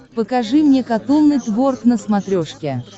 покажи мне катун нетворк на смотрешке